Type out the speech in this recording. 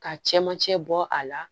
Ka cɛmancɛ bɔ a la